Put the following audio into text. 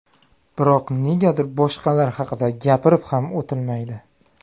Biroq negadir boshqalar haqida gapirib ham o‘tilmaydi.